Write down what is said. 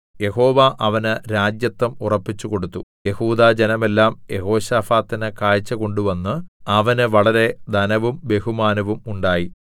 യഹോവ അവന് രാജത്വം ഉറപ്പിച്ചുകൊടുത്തു യെഹൂദാ ജനമെല്ലാം യെഹോശാഫാത്തിന് കാഴ്ച കൊണ്ട് വന്നു അവന് വളരെ ധനവും ബഹുമാനവും ഉണ്ടായി